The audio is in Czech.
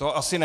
To asi ne.